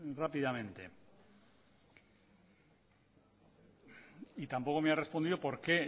rápidamente y tampoco me ha respondido por qué